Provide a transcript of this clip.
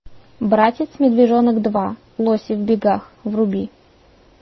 братец медвежонок два лоси в бегах вруби